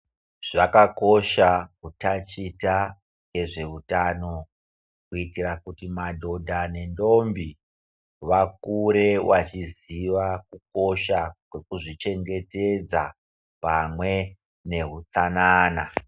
Zvakakosha kutachita ngezvehutano, kuitira kuti madhodha nendombi vakure vachiziva kukosha kwekuzvichengetedza pamwe nehutsanana.